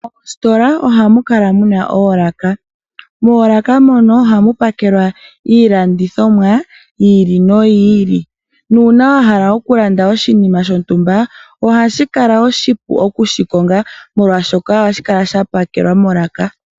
Moositola ohamu kala mu na oolaka. Moolaka mono ohamu pakelwa iilandithomwa yi ili noyi ili. Uuna wa hala okulanda oshinima shontumba ohashi kala oshipu okushikonga, molwashoka ohashi kala sha pakelwa molaka.